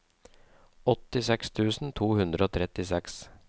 åttiseks tusen to hundre og trettiseks